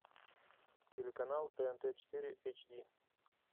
телеканал тнт четыре эйч ди